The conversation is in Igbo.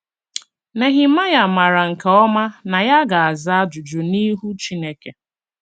Nehemaịa maara nke ọma na ya ga - aza ajụjụ n’ihu Chineke.